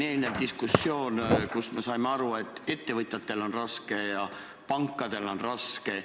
Eelnevast diskussioonist saime aru, et ettevõtjatel on raske ja pankadel on raske.